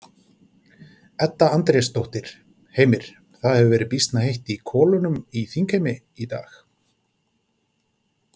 Edda Andrésdóttir: Heimir, það hefur verið býsna heitt í kolunum í þingheimi í dag?